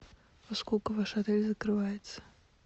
во сколько ваш отель закрывается